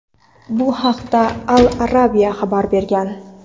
Bu haqda "Al Arabiya" xabar bergan.